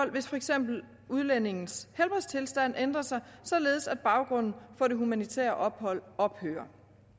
hvis for eksempel udlændingens helbredstilstand ændrer sig således at baggrunden for det humanitære ophold ophører